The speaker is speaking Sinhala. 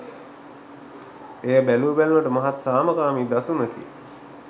එය බැලූබැල්මට මහත් සාමකාමී දසුනකි